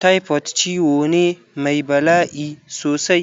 Typhoid ciwo ne mai bala'i sosai.